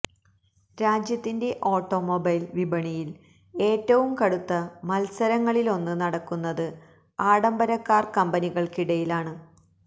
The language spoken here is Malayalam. രാജ്യത്തിന്റെ ഓട്ടോമൊബൈല് വിപണിയില് ഏറ്റവും കടുത്ത മത്സരങ്ങളിലൊന്ന് നടക്കുന്നത് ആഡംബരക്കാര് കമ്പനികള്ക്കിടയിലാണ്